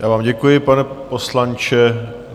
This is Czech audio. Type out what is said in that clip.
Já vám děkuji, pane poslanče.